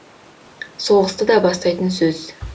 соғысты да бастайтын сөз